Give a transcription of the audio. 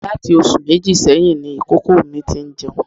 Láti oṣù méjì sẹ́yìn ni ìkókó mi ti ń jẹun